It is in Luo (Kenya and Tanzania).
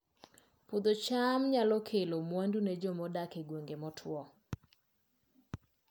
Puodho cham nyalo kelo mwandu ne joma odak e gwenge motwo